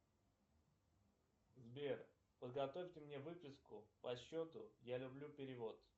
сбер подготовьте мне выписку по счету я люблю перевод